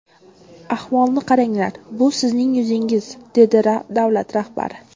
Ahvolni qaranglar, bu sizning yuzingiz”, dedi davlat rahbari.